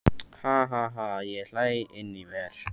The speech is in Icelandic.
Ha ha ha ég hlæ inní mér.